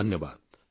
ଧନ୍ୟବାଦ